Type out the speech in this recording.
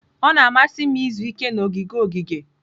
Ọ na-amasị m izu ike na ogige ogige.